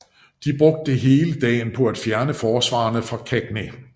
De brugte hele dagen på at fjerne forsvarerne fra Cagny